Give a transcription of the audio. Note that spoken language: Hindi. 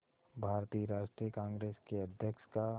भारतीय राष्ट्रीय कांग्रेस के अध्यक्ष का